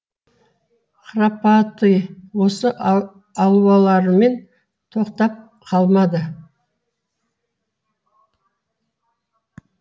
храпатый осы алуларымен тоқтап қалмады